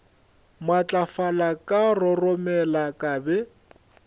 matlafala ka roromela ka be